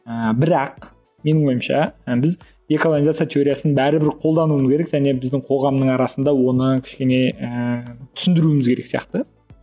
ііі бірақ менің ойымша і біз деколонизация теориясын бәрібір қолдануымыз керек және біздің қоғамның арасында оны кішкене ііі түсіндіруіміз керек сияқты